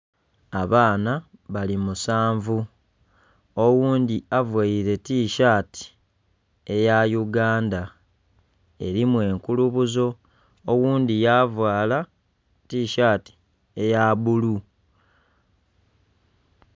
Abaana bali musanvu. Oghundhi availe tishati eya Uganda, elimu enkulubuzo. Ogundhi yavaala tishati eya bulu.